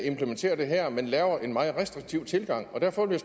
implementerer det her men laver en meget restriktiv tilgang derfor vil